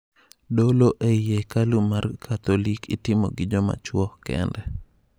Dolo e I hekalu mar katholik itimo gi ji machuo kende.